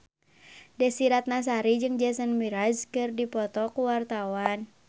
Desy Ratnasari jeung Jason Mraz keur dipoto ku wartawan